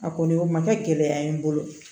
A kɔni o ma kɛ gɛlɛya ye n bolo